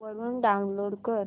वरून डाऊनलोड कर